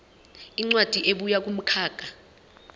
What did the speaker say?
incwadi ebuya kumkhakha